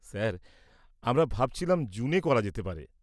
Sir, আমরা ভাবছিলাম জুনে করা যেতে পারে?